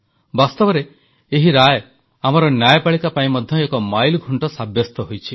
ବାସ୍ତବରେ ଏହି ରାୟ ଆମର ନ୍ୟାୟପାଳିକା ପାଇଁ ମଧ୍ୟ ଏକ ମାଇଲଖୁଂଟ ସାବ୍ୟସ୍ତ ହୋଇଛି